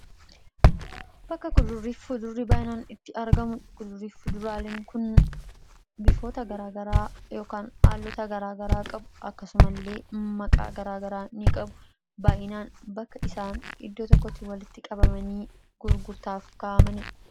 bakka gudurriif fudurrii baayinaan itti arga mudha kudurriif fuduraalin kun bifoota garaagaraa aallota garaagaraa qabu akkasumaillee maqaa garaagaraa ni qabu baayinaan bakka isaan iddoo tokkoti walitti qabamanii gurgurtaaf ka'amandha